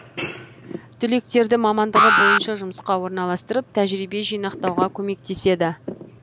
түлектерді мамандығы бойынша жұмысқа орналастырып тәжірибе жинақтауға көмектеседі